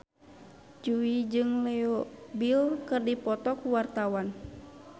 Jui jeung Leo Bill keur dipoto ku wartawan